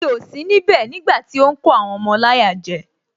Mi ò sí níbẹ̀ nígbàtí ó ń kó àwọn ọmọ láyà jẹ